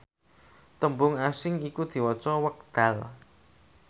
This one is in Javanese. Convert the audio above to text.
tembung asing iku diwaca wekdal